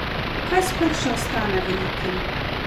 Kaj sploh še ostane velikim?